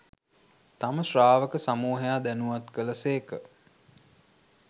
තම ශ්‍රාවක සමූහයා දැනුවත් කළ සේක.